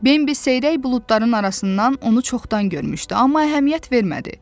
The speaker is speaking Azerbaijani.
Bambi seyrək buludların arasından onu çoxdan görmüşdü, amma əhəmiyyət vermədi.